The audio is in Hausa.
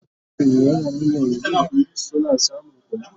shin yaran yanzun suna samun kula?